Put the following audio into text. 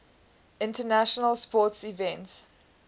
international sports events